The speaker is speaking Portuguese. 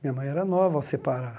Minha mãe era nova ao separar.